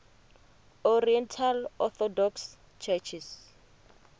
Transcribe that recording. oriental orthodox churches